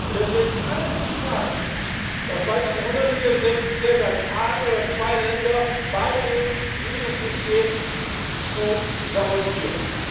Deswegen kann es nicht sein, dass bei diesen 164 Ländern ein oder zwei Länder beigehen, dieses System zu sabotieren.